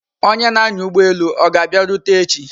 Onye na-anya ụgbọelu ọ ga-abịarute echi?